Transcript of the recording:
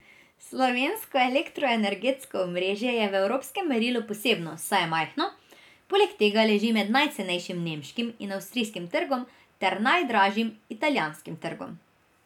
Slovensko elektroenergetsko omrežje je v evropskem merilu posebno, saj je majhno, poleg tega leži med najcenejšim nemškim in avstrijskim trgom ter najdražjim italijanskim trgom.